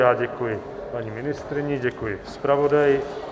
Já děkuji paní ministryni, děkuji zpravodaji.